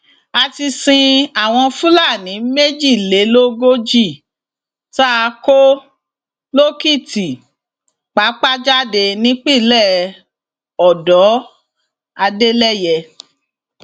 a ti sin àwọn fúlàní méjìlélógójì tá a kó lòkìtìpápá jáde nípínlẹ ọdọ adeleye